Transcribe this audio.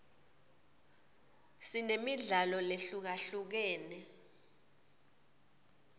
sinemidlalo lehlukahlukene